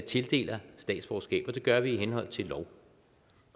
tildeler statsborgerskab og det gør vi i henhold til lov